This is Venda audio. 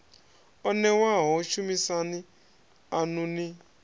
o newaho shumisani anu ni